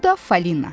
Bu da Falina.